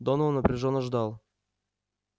донован напряжённо ждал